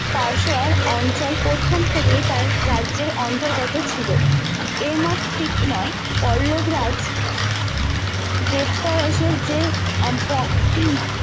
পার্সওয়ার অঞ্চল প্রথম থেকেই তার রাজ্যের অন্তর্গত ছিল এই মত ঠিক নয় পল্লব রাজ গ্রেপতার ওসেস যে আম্প